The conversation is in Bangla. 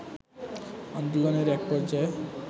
আন্দোলনের এক পর্যায়ে